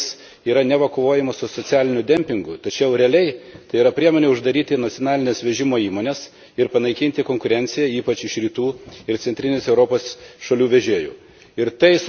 Tokiais įstatymais yra neva kovojama su socialiniu dempingu, tačiau realiai tai yra priemonė uždaryti nacionalines vežimo įmones ir panaikinti konkurenciją, ypač Rytų ir Centrinės Europos šalių vežėjų.